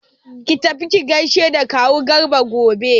Ki tafi ki gaishe da kawu Garba gobe!